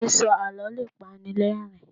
sísọ àlọ le pani l'ẹrin